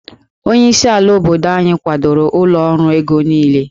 Onyeisi ala obodo anyị kwadoro ụlọ ọrụ ego niile